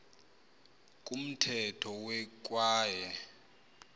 kumthetho we kwaye